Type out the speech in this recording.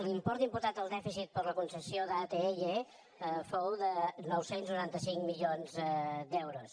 l’import imposat al dèficit per la concessió d’atll fou de nou cents i noranta cinc milions d’euros